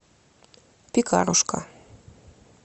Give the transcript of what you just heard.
пекарушка